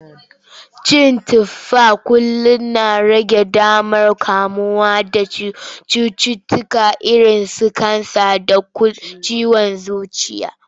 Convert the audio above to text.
Cin tufa kullum na rage damar kamuwa da cututtuka irinsu cutar kansa da ciwon zuciya.